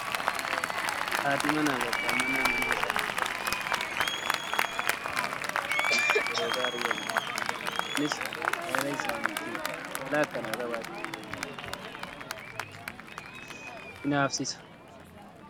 Haati manaa fi abbaan manaa mana isaanii keessatti baay'ee jaalala waliif kennuu akkasumas wal kabajuu fi yeroo gaarii waliin dabarsuu qabu. Kunis jaalala isaanii cimaa. Jaalala akkanaa qabaachuun nama hinaafsisa